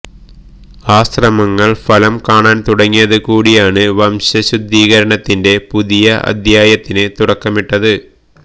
ആ ശ്രമങ്ങള് ഫലം കാണാന് തുടങ്ങിയത് കൂടിയാണ് വംശ ശുദ്ധീകരണത്തിന്റെ പുതിയ അധ്യായത്തിന് തുടക്കമിട്ടത്